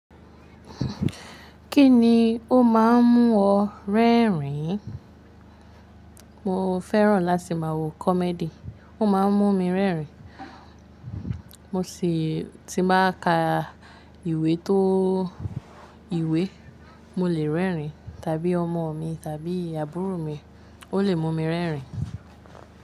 Kí ni ó má a ń mú ọ rẹ́rìn-ín? Mo fẹ́ràn láti má a wo comedy, ó má a ń mú mi rẹ́rìn. Mo sì tí n bá ka ìwé tó ìwé mo lè rẹ́rìn-ín tàbí ọmọ mi tàbí àbúrò mi ó lè mú mi rẹ́rìn.